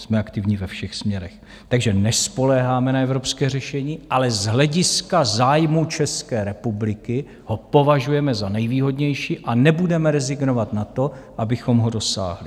Jsme aktivní ve všech směrech, takže nespoléháme na evropské řešení, ale z hlediska zájmu České republiky ho považujeme za nejvýhodnější a nebudeme rezignovat na to, abychom ho dosáhli.